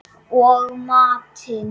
Og matinn